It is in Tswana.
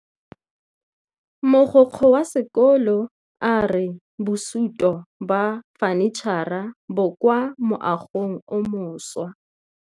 Mogokgo wa sekolo a re bosutô ba fanitšhara bo kwa moagong o mošwa.